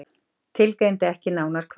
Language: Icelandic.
Tilgreindi ekki nánar hvar.